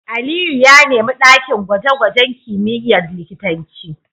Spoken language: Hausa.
Aliyu ya nemi dakin gwaje-gwajen kimiyyar likitanci